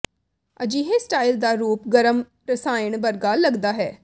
ਅਜਿਹੇ ਸਟਾਈਲ ਦਾ ਰੂਪ ਗਰਮ ਰਸਾਇਣ ਵਰਗਾ ਲੱਗਦਾ ਹੈ